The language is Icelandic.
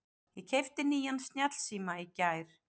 Ég keypti nýjan snjallsíma í gær.